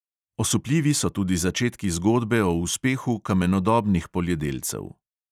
Osupljivi so tudi začetki zgodbe o uspehu kamenodobnih poljedelcev.